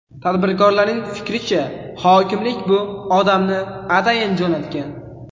Tadbirkorlarning fikricha, hokimlik bu odamni atayin jo‘natgan.